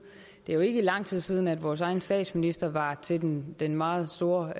det er jo ikke lang tid siden at vores egen statsminister var til den den meget store